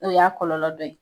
O y'a kɔlɔlɔ dɔ ye.